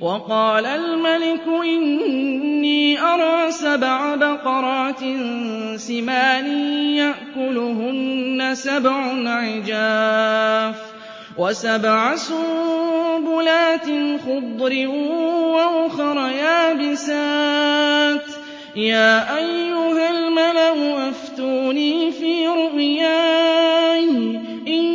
وَقَالَ الْمَلِكُ إِنِّي أَرَىٰ سَبْعَ بَقَرَاتٍ سِمَانٍ يَأْكُلُهُنَّ سَبْعٌ عِجَافٌ وَسَبْعَ سُنبُلَاتٍ خُضْرٍ وَأُخَرَ يَابِسَاتٍ ۖ يَا أَيُّهَا الْمَلَأُ أَفْتُونِي فِي رُؤْيَايَ إِن